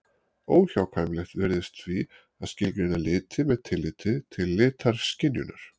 Óhjákvæmilegt virðist því að skilgreina liti með tilliti til litaskynjunar.